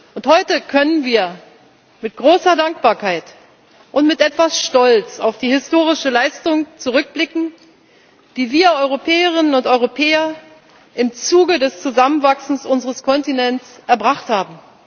Und heute können wir mit großer Dankbarkeit und mit etwas Stolz auf die historische Leistung zurückblicken, die wir Europäerinnen und Europäer im Zuge des Zusammenwachsens unseres Kontinents erbracht haben.